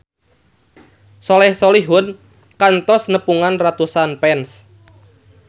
Soleh Solihun kantos nepungan ratusan fans